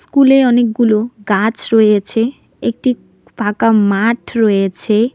School -এ অনেকগুলো গাছ রয়েছে একটি ফাঁকা মাঠ রয়েছে।